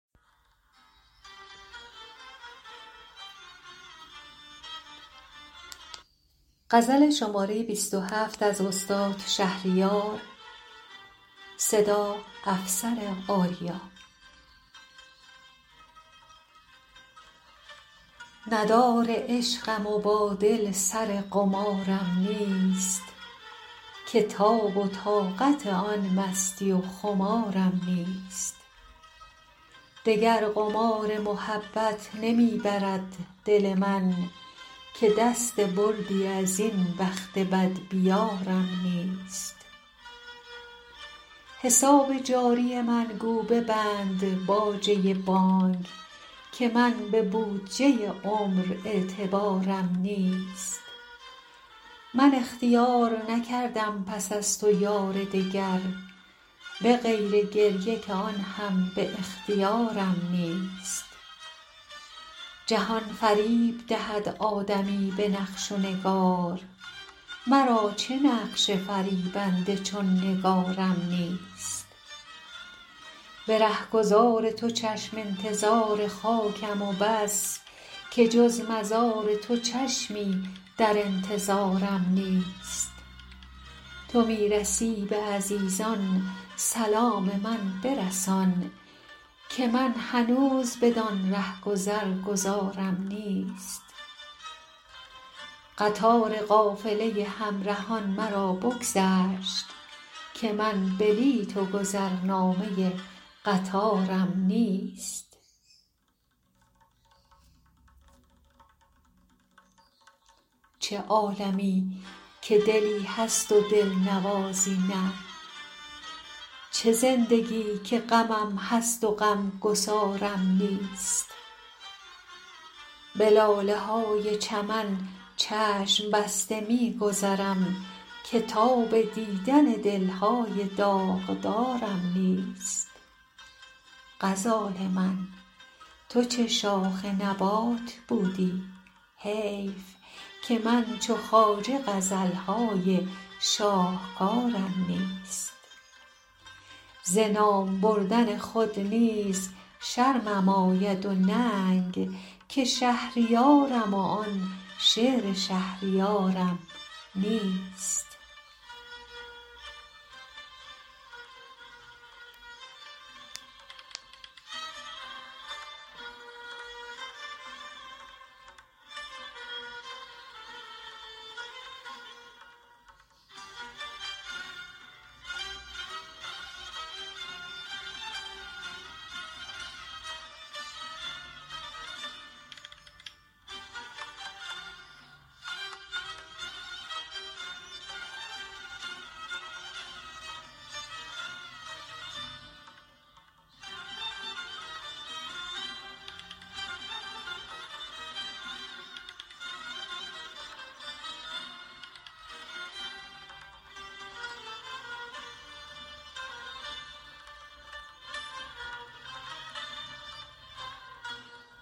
ندار عشقم و با دل سر قمارم نیست که تاب و طاقت آن مستی و خمارم نیست دگر قمار محبت نمی برد دل من که دست بردی از این بخت بدبیارم نیست حساب جاری من گو ببند باجه بانک که من به بودجه عمر اعتبارم نیست من اختیار نکردم پس از تو یار دگر به غیر گریه که آن هم به اختیارم نیست جهان فریب دهد آدمی به نقش و نگار مرا چه نقش فریبنده چون نگارم نیست به رهگذار تو چشم انتظار خاکم و بس که جز مزار تو چشمی در انتظارم نیست تو می رسی به عزیزان سلام من برسان که من هنوز بدان رهگذر گذارم نیست قطار قافله همرهان مرا بگذشت که من بلیت و گذرنامه قطارم نیست چه عالمی که دلی هست و دلنوازی نه چه زندگی که غمم هست و غمگسارم نیست به لاله های چمن چشم بسته می گذرم که تاب دیدن دل های داغدارم نیست غزال من تو چه شاخ نبات بودی حیف که من چو خواجه غزل های شاهکارم نیست ز نام بردن خود نیز شرمم آید و ننگ که شهریارم و آن شعر شهریارم نیست